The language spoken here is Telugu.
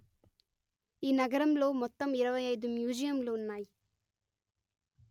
ఈ నగరంలో మొత్తం ఇరవై అయిదు మ్యూజియంలు ఉన్నాయి